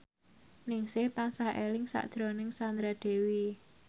Ningsih tansah eling sakjroning Sandra Dewi